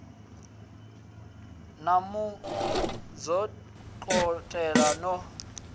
na mu zwondolola no sinvuwa